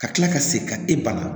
Ka kila ka segin ka e bana